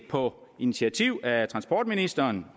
på initiativ af transportministeren